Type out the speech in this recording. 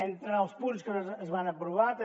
entre els punts que es van aprovar també